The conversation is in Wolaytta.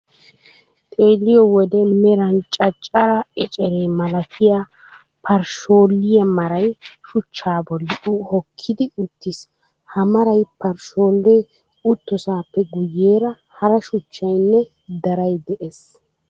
Xeelliyo wode meran caccare ecere malatiya parshsholliya maray shuchchaa bolli hokkidi uttiis. Ha mara parshshollee uttosaappe guyyeera hara shuchchay nne daray de'es.